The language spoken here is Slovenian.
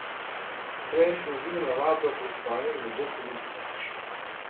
Preintenzivna vadba pred spanjem ne bo koristna.